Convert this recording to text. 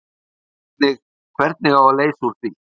Hvernig, hvernig á að leysa úr því?